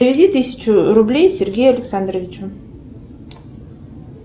переведи тысячу рублей сергею александровичу